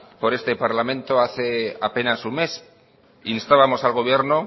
por este parlamento hace apenas un mes instábamos al gobierno